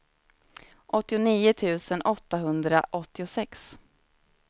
åttionio tusen åttahundraåttiosex